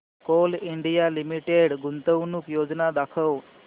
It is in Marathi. कोल इंडिया लिमिटेड गुंतवणूक योजना दाखव